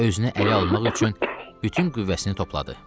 Özünü ələ almaq üçün bütün qüvvəsini topladı.